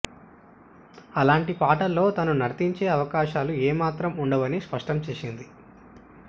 అలాంటి పాటల్లో తను నర్తించే అవకాశాలు ఏ మాత్రం ఉండవని స్పష్టం చేసింది